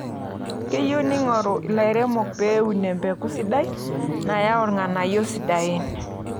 Keyie neingorr lairemok pee eun emebeku sidai nayau ilng'anayio sidain.